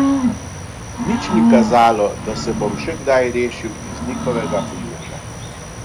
Nič ni kazalo, da se bom še kdaj rešil iz njihovega primeža.